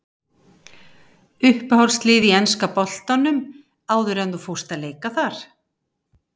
Uppáhaldslið í enska boltanum áður en að þú fórst að leika þar?